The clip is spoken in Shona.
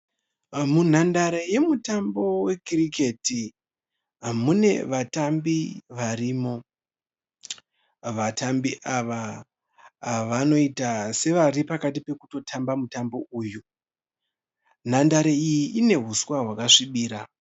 Munhandare yemutambo weKiriketi munevatambi varimo. Vatambi ava vanoita sevaripakati pokutotamba mutambo uyu. Nhandare iyi ine huswa hwakasvibira.